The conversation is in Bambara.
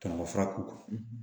Tɔnɔ fura ko